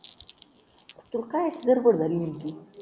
तू काय असंलच बोलला रे म्हणतोय